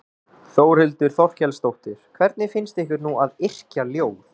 Þórhildur Þorkelsdóttir: Hvernig finnst ykkur nú að yrkja ljóð?